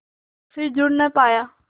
के फिर जुड़ ना पाया